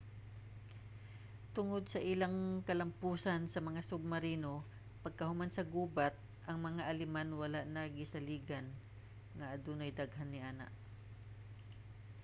tungod sa ilang kalampusan sa mga submarino pagkahuman sa gubat ang mga aleman wala na gisaligan nga adunay daghan niana